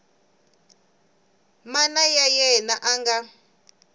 mana wa yena a nga